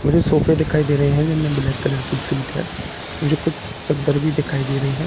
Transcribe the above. मुझे सोफे दिखाई दे रहे हैं जिनमें ब्लैक कलर की सीट है मुझे कुछ चद्दर भी दिखाई दे रही है --